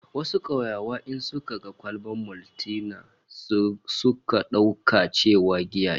Wasu kauyawa in suka ga kwalbar Maltina sukan dauka cewa giya ce